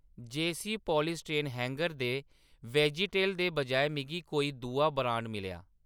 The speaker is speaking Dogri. जेयसी पॉलीस्टाइनिन हैंगर दे वेजेटल दे बजाए मिगी कोई दूआ ब्रांड मिलेआ।